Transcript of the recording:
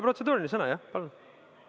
Protseduuriline küsimus, jah?